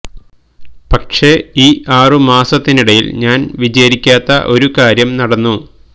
പക്ഷെ ഈ ആറു മാസത്തിനിടയിൽ ഞാൻ വിചാരിക്കാത്ത ഒരു കാര്യം നടന്നു